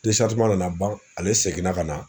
nana ban ale seginna ka na